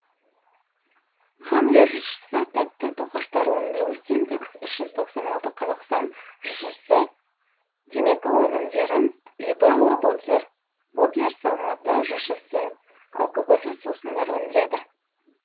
хамле жшс тәтті тоқаштар өндіру синтекс үш жүз тоқсан алты қазақстан жшс і темекі өнімдерін либелла ботлерс алматы жшс і алкогольсіз сусындар өндіреді